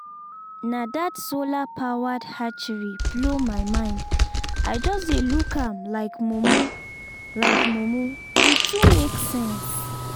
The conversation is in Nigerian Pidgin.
na that solar-powered hatchery blow my mind i just dey look am like mumu like mumu e too make sense